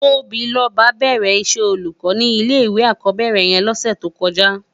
Tobiloba bèrè iṣè ólúkò ni ilé iwé ákòbèrè yèn lòsè tókòjá